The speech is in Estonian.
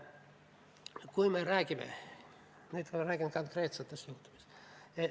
Nüüd ma räägin konkreetsetest juhtumitest.